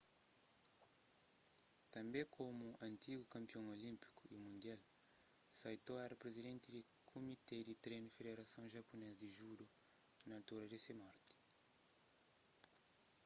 tanbê komu antigu kanpion olínpiku y mundial saito éra prizidenti di kumité di trenu di federason japunês di judo na altura di se morti